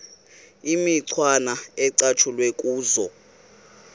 imicwana ecatshulwe kuzo